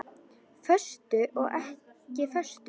Föstu og ekki föstu.